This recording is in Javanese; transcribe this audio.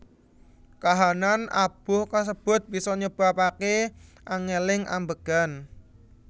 Kahanan abuh kasebut bisa nyebabake angeling ambegan